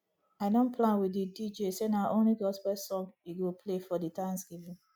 i don plan with di dj say na only gospel song he go play for the thanksgiving